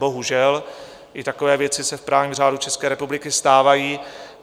Bohužel, i takové věci se v právním řádu České republiky stávají.